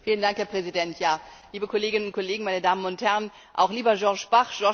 Herr Präsident, liebe Kolleginnen und Kollegen, meine Damen und Herren, auch lieber Georges Bach!